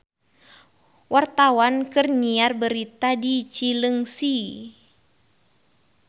Wartawan keur nyiar berita di Cileungsi